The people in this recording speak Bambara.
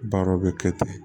Baara bɛ kɛ ten